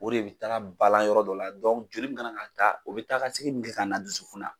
O de bɛ taga balan yɔrɔ dɔ la joli mana na da o bɛ taa ka segin min kɛ ka na da dusukun na